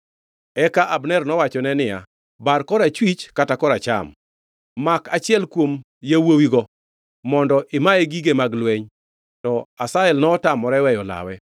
Eka Abner nowachone niya, “Bar korachwich kata koracham; mak achiel kuom yawuowigo mondo imaye gige mag lweny.” To Asahel notamore weyo lawe.